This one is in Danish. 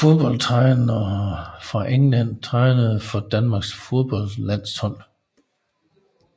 Fodboldtrænere fra England Trænere for Danmarks fodboldlandshold